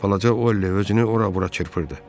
Balaca Ollie özünü ora-bura çırpırdı.